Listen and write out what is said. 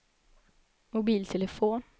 mobiltelefon